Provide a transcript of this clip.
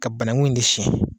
Ka banaku in de siyɛ.